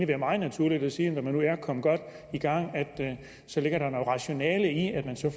være meget naturligt at sige når man nu er kommet godt i gang at så ligger der noget rationale i at man så